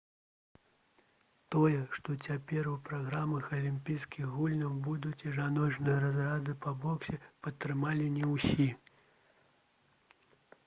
тое што цяпер у праграме алімпійскіх гульняў будуць і жаночыя разрады по боксе падтрымалі не ўсе